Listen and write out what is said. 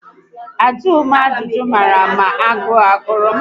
Ajụghi m ajụjụ mara ma agụụ ogụrụ m